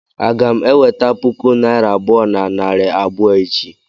Aga m eweta puku naira abụọ na narị abụọ echi?